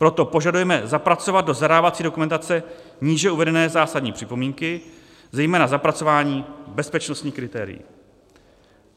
Proto požadujeme zapracovat do zadávací dokumentace níže uvedené zásadní připomínky, zejména zapracování bezpečnostních kritérií.